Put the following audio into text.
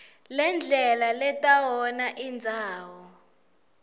ngendlela letawona indzawo